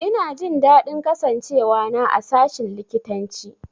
Ina jin daɗin kasancewa na a sashin likitanci.